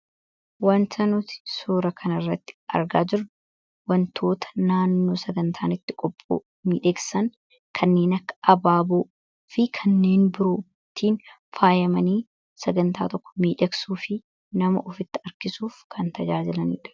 Suuraa kanaa gadii irratti kan argamu wantoota naannoon sagantaa itti qopha'an kan agarsiisuu dha. Innis wantoota akka abaaboo fi wantoota biroo waliin ta'uun sagantaa tokko miidhagsuuf kan oolanii dha.